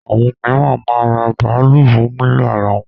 Àwọn míràn máa ń ra bàálù fún lílò ara wọn.